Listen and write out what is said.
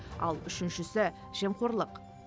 ал үшіншісі жемқорлық